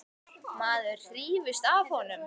Maður hrífst af honum.